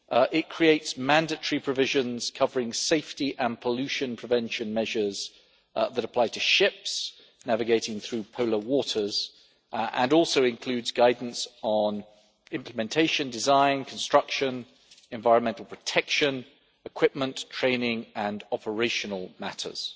It creates mandatory provisions covering safety and pollution prevention measures that apply to ships navigating through polar waters, and also includes guidance on implementation, design, construction, environmental protection, equipment, training and operational matters.